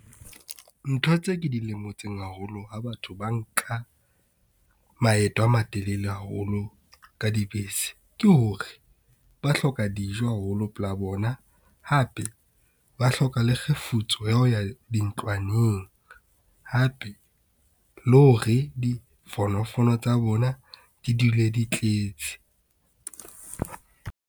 Ntho tse ke di lemotseng haholo ha batho ba nka maeto a matelele haholo ka dibese, ke hore ba hloka dijo haholo pela bona, hape ba hloka le kgefutso ya ho ya dintlwaneng. Hape le ho re difonofono tsa bona di dule di tletse.